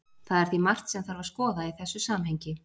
Það er því margt sem þarf að skoða í þessu samhengi.